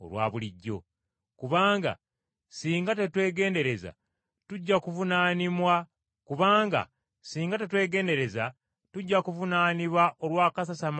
Kubanga singa tetwegendereza, tujja kuvunaanibwa olw’akasasamalo ka leero, kubanga tetujja kuba na kya kwogera.”